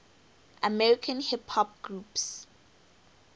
american hip hop groups